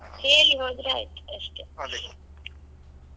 ಅದೇ.